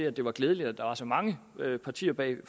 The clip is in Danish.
at det var glædeligt at der var så mange partier bag